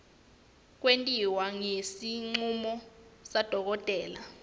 kwentiwa ngesincomo sadokotela